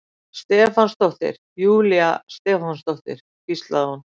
Stefánsdóttir, Júlía Stefánsdóttir, hvíslaði hún.